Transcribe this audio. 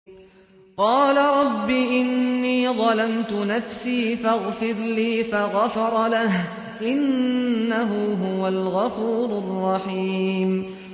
قَالَ رَبِّ إِنِّي ظَلَمْتُ نَفْسِي فَاغْفِرْ لِي فَغَفَرَ لَهُ ۚ إِنَّهُ هُوَ الْغَفُورُ الرَّحِيمُ